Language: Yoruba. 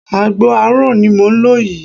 Àgbo àárọ̀ ni mò ń lò yìí